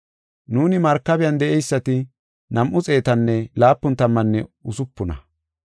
Nuuni markabiyan de7eysati nam7u xeetanne laapun tammanne usupuna.